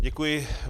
Děkuji.